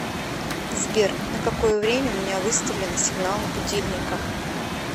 сбер на какое время у меня выставлены сигналы будильника